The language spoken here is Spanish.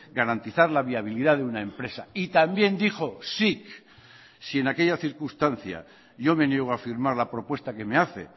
garantizar la viabilidad de una empresa y también dijo sic si en aquella circunstancia yo me niego a firmar la propuesta que me hace